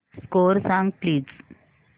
score सांग please